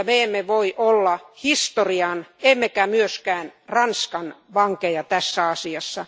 Me emme voi olla historian emmekä myöskään Ranskan vankeja tässä asiassa.